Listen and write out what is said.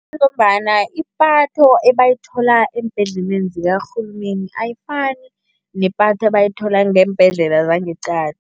Kungombana ipatho ebayithola eembhedleleni zikarhulumeni ayifani nepatho ebayithola ngeembhedlela zangeqadi.